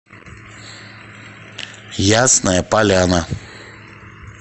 ясная поляна